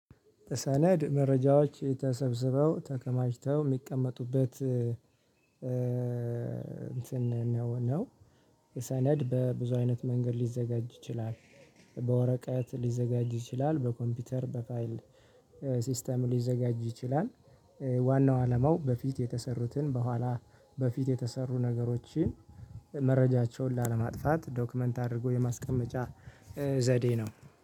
ሰነድ መረጃዎች ተሰብስበው ተከማችተው የሚቀመጡበት እንትን ነው። የሰነድ በብዙ አይነት መንገድ ሊዘጋጅ ይችላል። በወረቀት ሊዘጋጁ ይችላል በኮምፒውተር በፋይል ሲስተም ሊዘጋጁ ይችላል። ዋናው አለማው በፊት የተሰሩትን በኋላ በፊት የተሰሩ ነገሮችን መረጃቸውን ላለማጥፋት ዶክመንት አድርጎ የማስቀመጫ ዘዴ ነው።